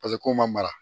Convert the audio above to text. Paseke kow ma mara